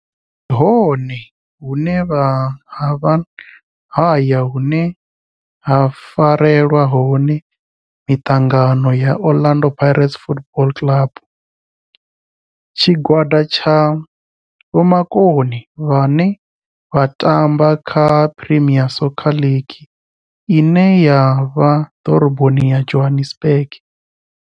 Ndi hone hune havha haya hune ha farelwa hone mitangano ya Orlando Pirates Football Club. Tshigwada tsha vhomakone vhane vha tamba kha Premier Soccer League ine ya vha Doroboni ya Johannesburg.